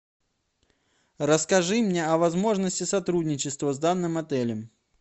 расскажи мне о возможности сотрудничества с данным отелем